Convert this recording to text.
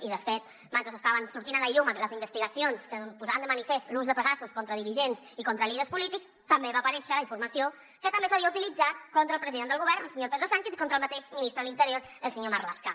i de fet mentre estaven sortint a la llum les investigacions que posaven de manifest l’ús de pegasus contra dirigents i contra líders polítics també va aparèixer la informació que també s’havia utilitzat contra el president del govern el senyor pedro sánchez i contra el mateix ministre de l’interior el senyor marlaska